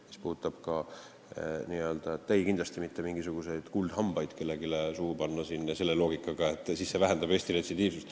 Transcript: Mis puudutab hambaravi, siis kindlasti mitte mingisuguseid kuldhambaid kellelegi suhu panema ei hakata ja veel sellise loogikaga, nagu see vähendaks Eestis retsidiivsust.